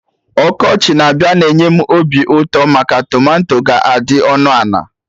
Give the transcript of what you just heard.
Ọkọchị na-abịa na-enye m obi ụtọ maka tomato ga-adị ọnụ ana